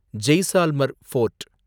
Jaisalmer fort